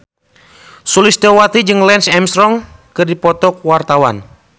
Sulistyowati jeung Lance Armstrong keur dipoto ku wartawan